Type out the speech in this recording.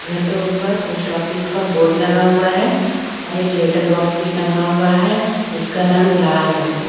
घर के ऊपर पोस्ट ऑफिस का बोर्ड लगा हुआ है और एक लेटर बॉक्स भी टंगा हुआ है इसका रंग लाल रंग है।